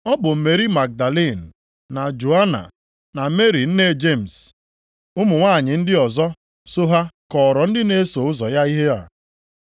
Ọ bụ Meri Magdalin, na Joana, na Meri nne Jemis na ụmụ nwanyị ndị ọzọ so ha kọọrọ ndị na-eso ụzọ ya ihe a.